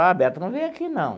Ah, Beto não veio aqui não.